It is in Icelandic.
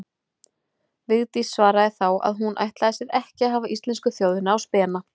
Vigdís svaraði þá að hún ætlaði sér ekki að hafa íslensku þjóðina á spena.